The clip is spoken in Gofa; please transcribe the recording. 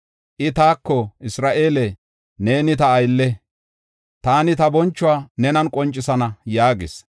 I taako, “Isra7eele, neeni ta aylle; taani ta bonchuwa nenan qoncisana” yaagis.